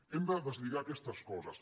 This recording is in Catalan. hem de deslligar aquestes coses